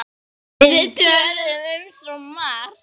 Við töluðum um svo margt.